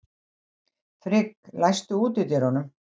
Frigg, læstu útidyrunum.